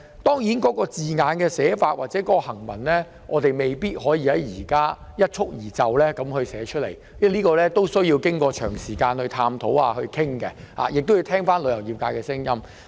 當然，有關指引或守則的措辭，我們現在未必可以一蹴而就舉例，必須經過長時間探討和討論，亦需聽取旅遊業界的意見。